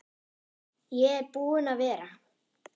Ég er búinn að vera